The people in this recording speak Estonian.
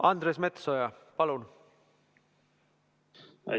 Andres Metsoja, palun!